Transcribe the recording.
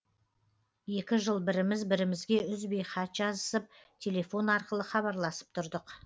екі жыл біріміз бірімізге үзбей хат жазысып телефон арқылы хабарласып тұрдық